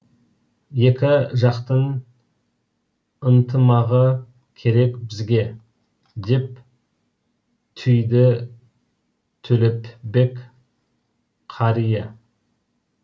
екі жақтың ынтымағы керек бізге деп түйді төлепбек қария